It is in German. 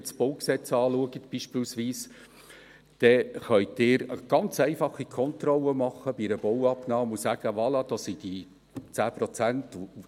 Wenn Sie das BauG anschauen, dann können Sie beispielsweise bei einer Bauabnahme eine ganz einfache Kontrolle machen und sagen: «Voilà, da sind die 10 Prozent!».